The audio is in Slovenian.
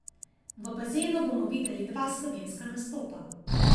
V bazenu bomo videli dva slovenska nastopa.